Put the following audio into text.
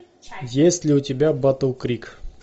есть ли у тебя батл крик